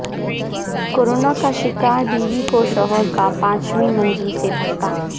corona کا شکار بیوی کو شوہر کا پانچویں منزل سے دھکا